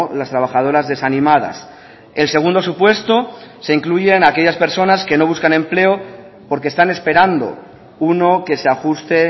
las trabajadoras desanimadas el segundo supuesto se incluyen aquellas personas que no buscan empleo porque están esperando uno que se ajuste